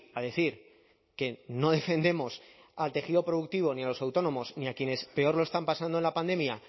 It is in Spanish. a decir que no defendemos al tejido productivo ni a los autónomos ni a quienes peor lo están pasando en la pandemia